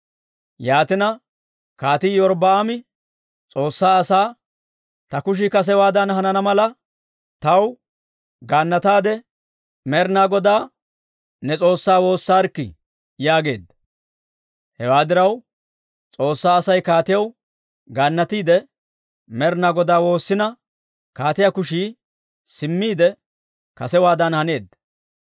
Yaatina, Kaatii Iyorbbaami S'oossaa asaa, «Ta kushii kasewaadan hanana mala taw gaannataade Med'inaa Godaa ne S'oossaa woossarikkii!» yaageedda. Hewaa diraw, S'oossaa Asay kaatiyaw gaannatiide Med'inaa Godaa woossina, kaatiyaa kushii simmiide kasewaadan haneedda.